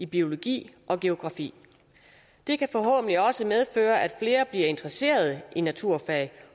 biologi og geografi det kan forhåbentlig også medføre at flere bliver interesseret i naturfag